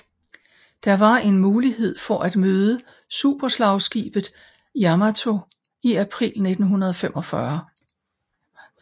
Der var en mulighed for at møde superslagskibet Yamato i april 1945